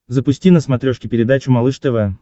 запусти на смотрешке передачу малыш тв